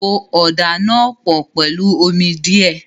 Po ọ̀dà náà pọ̀ pẹ̀lú omi díẹ̀.